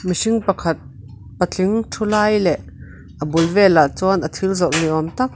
mihring pakhat patling thu lai leh a bul velah chuan a thil zawrh ni awm tak--